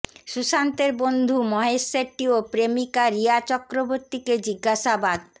সুশান্তের বন্ধু মহেশ শেট্টি ও প্রেমিকা রিয়া চক্রবর্তীকে জিজ্ঞাসাবাদ